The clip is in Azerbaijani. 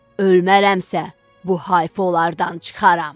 Ölmərəmsə, bu hayfolardan çıxaram.